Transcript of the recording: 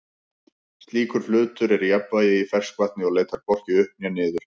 slíkur hlutur er í jafnvægi í ferskvatni og leitar hvorki upp né niður